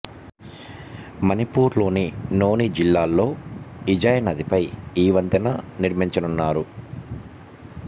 మణిపూర్ లోని నోని జిల్లాల్లో ఇజాయ్ నదిపై ఈ వంతెన నిర్మించనున్నారు